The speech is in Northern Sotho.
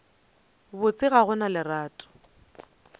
botse ga go na lerato